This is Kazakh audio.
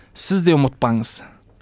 сіз де ұмытпаңыз